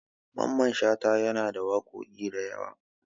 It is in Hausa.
Mamman Shata yana da waƙoƙi da yawa.